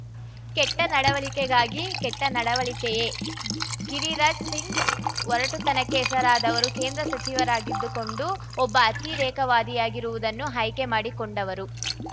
ಕೆಟ್ಟನಡವಳಿಕೆಗಾಗಿ ಕೆಟ್ಟನಡವಳಿಕೆಯೆ ಗಿರಿರಾಜ್‌ ಸಿಂಗ್‌ ಒರಟುತನಕ್ಕೆ ಹೆಸರಾದವರು ಕೇಂದ್ರ ಸಚಿವರಾಗಿದ್ದುಕೊಂಡೂ ಒಬ್ಬ ಅತಿರೇಕವಾದಿಯಾಗಿರುವುದನ್ನು ಆಯ್ಕೆಮಾಡಿಕೊಂಡವರು